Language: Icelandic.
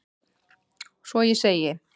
Svo ég segi: